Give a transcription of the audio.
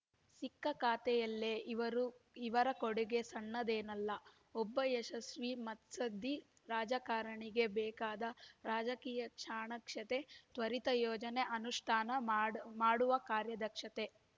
ಸಿಕ್ಕ ಖಾತೆಯಲ್ಲೇ ಇವರು ಇವರ ಕೊಡುಗೆ ಸಣ್ಣದೇನಲ್ಲ ಒಬ್ಬ ಯಶಸ್ವಿ ಮುತ್ಸದ್ದಿ ರಾಜಕಾರಣಿಗೆ ಬೇಕಾದ ರಾಜಕೀಯ ಚಾಣಾಕ್ಷತೆ ತ್ವರಿತ ಯೋಜನೆ ಅನುಷ್ಠಾನ ಮಾಡ ಮಾಡುವ ಕಾರ್ಯದಕ್ಷತೆ